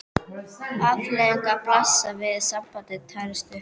Afleiðingarnar blasa við: sambandið tærist upp.